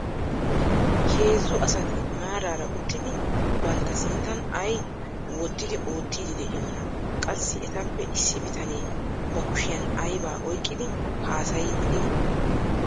Heezzu asati maaraara uttidi bantta sinttan ay wottidi oottiiddi de'iyonaa. Qassi etappe issi bitanee ba kushiyan aybaa oyqqidi haasayiiddi de'ii?